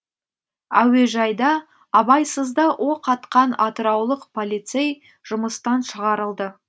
әуежайда абайсызда оқ атқан атыраулық полицей жұмыстан шығарылды